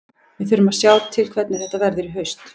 Við þurfum að sjá til hvernig þetta verður í haust.